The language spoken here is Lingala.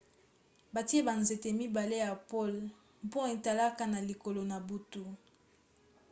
batie banzete mibale ya pole mpo etalaka na likolo na butu